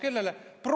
Kellele?